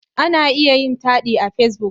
Ana iya yin taɗi a Facebook.